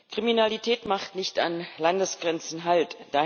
Kriminalität macht nicht an Landesgrenzen halt.